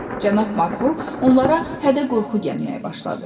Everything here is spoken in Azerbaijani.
Cənab Markov onlara hədə-qorxu gəlməyə başladı.